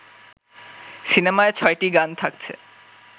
সিনেমায় ছয়টি গান থাকছে